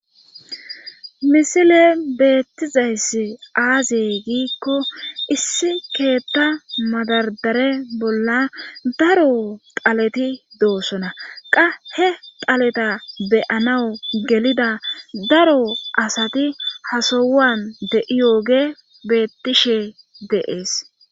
misile beettizayssi aazey giikko issi keetta madardare bolla daro taleti doosona qa he taleta beyanawu gelida daro asati hasowan de7i yooge beettishe de7ees